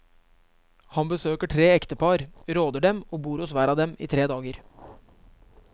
Han besøker tre ektepar, råder dem og bor hos hver av dem i tre dager.